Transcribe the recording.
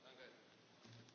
Herr Präsident!